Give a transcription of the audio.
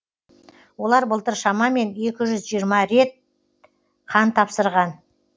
олар былтыр шамамен екі жүз жиырма рет қан тапсырған